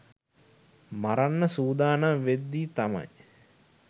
මරන්න සූදානම් වෙද්දී තමයි